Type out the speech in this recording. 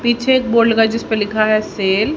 पीछे एक बोर्ड लगा है जिसपे लिखा है सेल --